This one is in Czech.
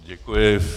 Děkuji.